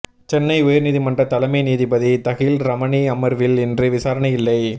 சென்னை உயர்நீதிமன்ற தலைமை நீதிபதி தஹில் ரமணி அமர்வில் இன்று விசாரணை இல்லை